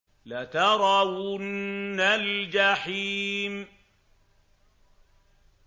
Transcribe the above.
لَتَرَوُنَّ الْجَحِيمَ